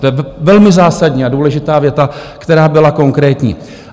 To je velmi zásadní a důležitá věta, která byla konkrétní.